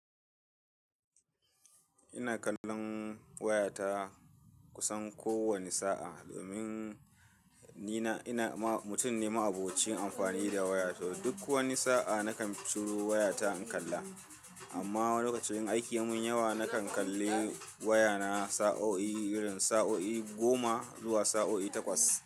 Ina kallon wayata kusan kowane sa'a, domin ni na ina ma mutum ne ma'abocin amfani da waya, to duk wani sa'a nakan ciro wayata in kalla. Amma wani lokacin in aiki ya mun yawa nakan kalli wayana sa'o'i, irin sa'o'i goma zuwa sa'o'i takwas.